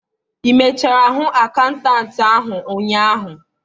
ị mechara hụ akaụntantị ahụ ụnyaahụ?